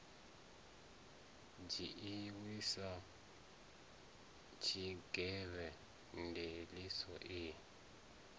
dzhiiwi sa tshigwevho ndiliso i